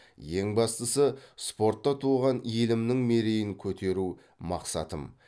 ең бастысы спортта туған елімнің мерейін көтеру мақсатым